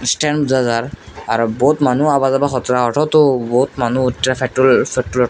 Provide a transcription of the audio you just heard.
Stand আর বহুত মানু আওয়া যাওয়া করছে বহুত মানু ।